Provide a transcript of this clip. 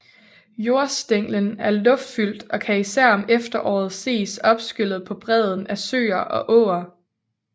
Jordstænglen er luftfyldt og kan især om efteråret ses opskyllet på bredden af søer og åer